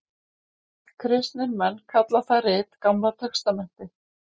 Kristnir menn kalla það rit Gamla testamentið.